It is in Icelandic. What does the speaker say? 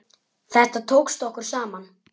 Þetta tókst okkur saman.